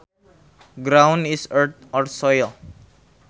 Ground is earth or soil